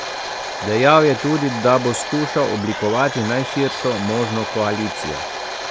Dejal je tudi, da bo skušal oblikovati najširšo možno koalicijo.